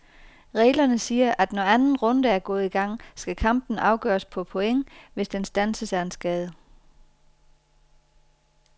Reglerne siger, at når anden runde er gået i gang, skal kampen afgøres på point, hvis den standses af en skade.